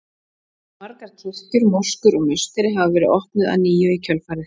Margar kirkjur, moskur og musteri hafa verið opnuð að nýju í kjölfarið.